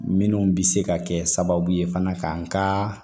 Minnu bɛ se ka kɛ sababu ye fana ka n ka